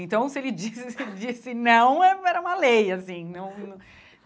Então, se ele disse disse não, é era uma lei, assim não.